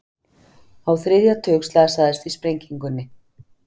Á þriðja tug slasaðist í sprengingunni